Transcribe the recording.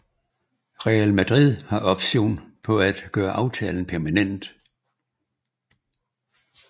Real Madrid har option på at gøre aftalen permanent